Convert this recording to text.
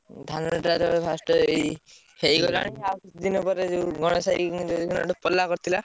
ଧାନ ଟାରେ first ଏଇ ହେଇଗଲାଣି କିଛି ଦିନ ଗଲାପରେ ।